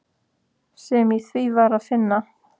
sem í því var að finna.